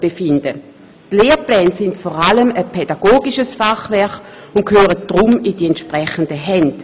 Die Lehrpläne sind vor allem ein pädagogisches Fachwerk und gehören deshalb in die entsprechenden Hände.